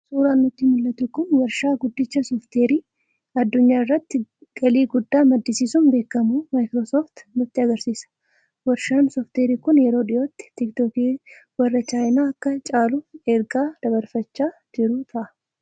Suuraan nutti mul'atu kun waarshaa guddicha Sooftiweerii(Software) addunyaa irratti galii guddaa maddisiisuun beekamu "Microsoft" nutti agarsiisa. Waarshaan Sooftiweerii kun yeroo dhiyootti tiiktookii warra chaayinaa akka caalu ergaa dabarfachaa jiru ta'a.